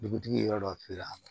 Dugutigi ye yɔrɔ dɔ feere a ma